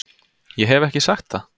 Ég hef ekki sagt það!